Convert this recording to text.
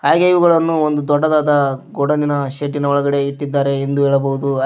ಹಾಗೆ ಇವುಗಳನ್ನು ಒಂದು ದೊಡ್ಡದಾದ ಗೋಡ ನಿನ ಶೆಡ್ಡಿ ನ ಒಳಗಡೆ ಇಟ್ಟಿದ್ದಾರೆ ಎಂದು ಹೇಳಬಹುದು.